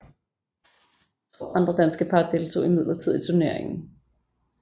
To andre danske par deltog imidlertid i turneringen